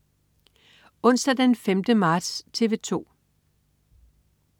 Onsdag den 5. marts - TV 2: